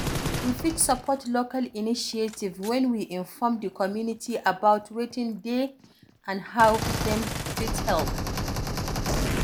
We fit support local initiative when we inform di community about wetin dey and how dem fit help